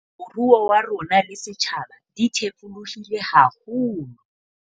Moruo wa rona le setjhaba di thefulehile haholo.